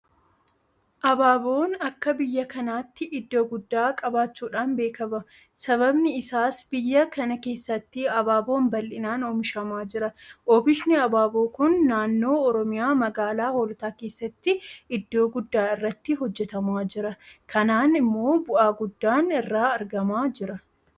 Abaaboon akka biyya kanaatti iddoo guddaa qabaachuudhaan beekama. Sababni isaas biyya kana keessatti Abaaboon bal'inaan oomishamaaa jira. Oomishni Abaaboo kun naannoo Oromiyaa magaalaa Hoolotaa keessatti iddoo guddaa irratti hojjetamaa jira. Kanaan immoo bu'aa guddaan irraa argamaa jira.